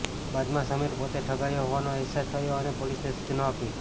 બાદમાં સમીર પોતે ઠગાયો હોવાનો અહેસાસ થયો અને પોલીસને સૂચના આપી